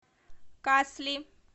касли